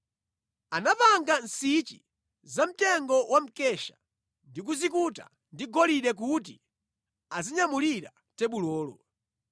Anapanga nsichi zamtengo wa mkesha ndi kuzikuta ndi golide kuti azinyamulira tebulolo.